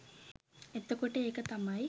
එතකොට ඒක තමයි